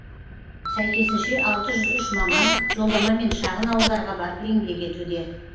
сәйкесінше алты жүз үш маман жолдамамен шағын ауылдарға барып еңбек етуде